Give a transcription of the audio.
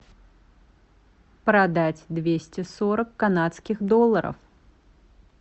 продать двести сорок канадских долларов